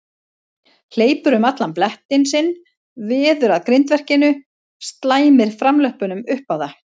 Hleypur um allan blettinn sinn, veður að grindverkinu, slæmir framlöppunum upp á það.